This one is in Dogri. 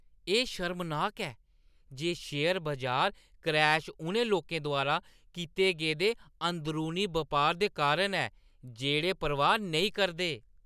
एह् शर्मनाक ऐ जे शेयर बजार क्रैश उ'नें लोकें द्वारा कीते गेदे अंदरूनी बपार दे कारण ऐ जेह्ड़े परवाह् नेईं करदे।